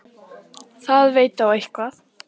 Það veit á eitthvað.